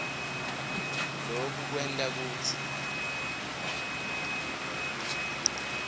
loku kwenta kutsi